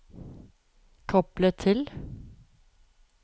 koble til